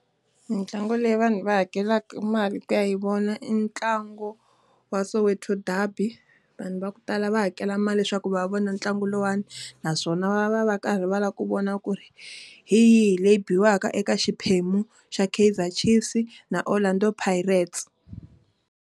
Mintlangu leyi vanhu va hakelaka mali ku ya hi vona i ntlangu wa Soweto derby. Vanhu va ku tala va hakela mali leswaku va vona ntlangu lowani. Naswona va va va karhi va lava ku vona ku ri hi yihi leyi biwaka eka xiphemu xa Keizer Chiefs na Orlando Pirates.